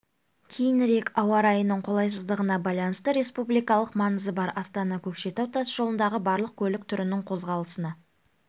кейінірек ауа райының қолайсыздығына байланысты республикалық маңызы бар астана көкшетау тас жолындағы барлық көлік түрінің қозғалысына